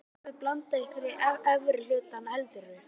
Gætuð þið alveg blandað ykkur í efri hlutann heldurðu?